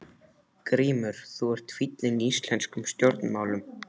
GRÍMUR: Þú ert fíllinn í íslenskum stjórnmálum!